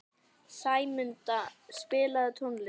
Sæmunda, spilaðu tónlist.